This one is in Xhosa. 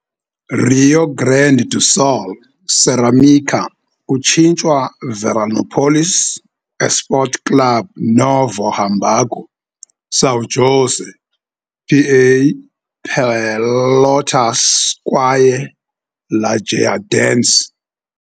Rio Grande do Sul - Cerâmica kutshintshwa Veranópolis Esporte Clube, Novo Hamburgo, São José, PA, Pelotas kwaye Lajeadense.